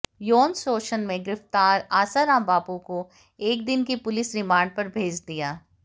यौन शोषण में गिरफ्तार आसाराम बापू को एक दिन की पुलिस रिमांड पर भेज दिया